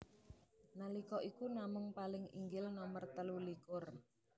Nalika iku namung paling inggil nomer telu likur